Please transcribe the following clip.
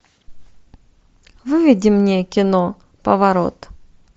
выведи мне кино поворот